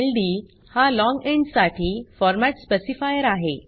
ld हा long int साठी format specifier आहे